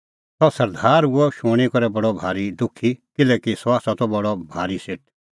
सह सरदार हुअ इहअ शूणीं करै बडअ भारी दुखी किल्हैकि सह त बडअ भारी सेठ